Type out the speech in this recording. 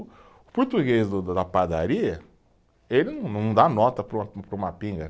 Português do da da padaria, ele não, não dá nota para uma, para uma pinga.